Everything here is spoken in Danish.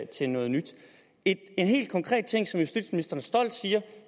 til noget nyt en helt konkret ting som justitsministeren stolt siger